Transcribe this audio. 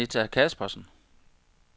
Anita Kaspersen